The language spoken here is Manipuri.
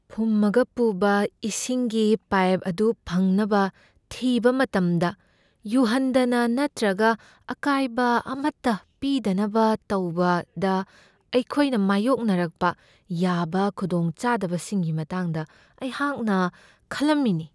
ꯐꯨꯝꯃꯒ ꯄꯨꯕ ꯏꯁꯤꯡꯒꯤ ꯄꯥꯏꯞ ꯑꯗꯨ ꯐꯪꯅꯕ ꯊꯤꯕ ꯃꯇꯝꯗ ꯌꯨꯍꯟꯗꯅ ꯅꯠꯇ꯭ꯔꯒ ꯑꯀꯥꯏꯕ ꯑꯃꯠꯇ ꯄꯤꯗꯅꯕ ꯇꯧꯕꯗ ꯑꯩꯈꯣꯏꯅ ꯃꯥꯌꯣꯛꯅꯔꯛꯄ ꯌꯥꯕ ꯈꯨꯗꯣꯡꯆꯥꯗꯕꯁꯤꯡꯒꯤ ꯃꯇꯥꯡꯗ ꯑꯩꯍꯥꯛꯅ ꯈꯜꯂꯝꯃꯤꯅꯤ ꯫